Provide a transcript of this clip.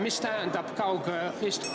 Mida tähendab kaugistung?